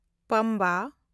ᱯᱟᱢᱵᱟ